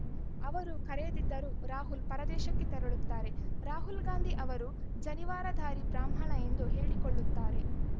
ಅವರು ಕರೆಯದಿದ್ದರೂ ರಾಹುಲ್‌ ಪರದೇಶಕ್ಕೆ ತೆರಳುತ್ತಾರೆ ರಾಹುಲ್‌ ಗಾಂಧಿ ಅವರು ಜನಿವಾರಧಾರಿ ಬ್ರಾಹ್ಮಣ ಎಂದು ಹೇಳಿಕೊಳ್ಳುತ್ತಾರೆ